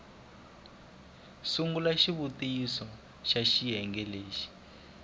sungula swivutiso swa xiyenge xin